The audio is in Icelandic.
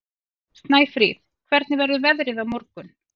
Snæfríð, hvernig verður veðrið á morgun?